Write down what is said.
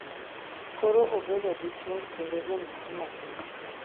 Koro obedo dichuo kendo wuon nyathi matin.